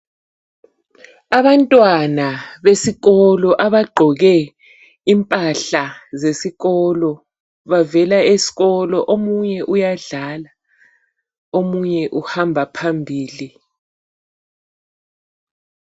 Abantwana besikolo, abagqoke impahla zesikolo bavela esikolo, omunye uyadlala omunye uhamba phambili.